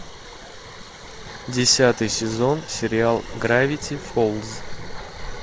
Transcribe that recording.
десятый сезон сериал гравити фолз